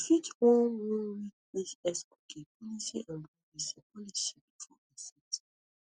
you fit wan wan read di xcookie policyandprivacy policybefore accepting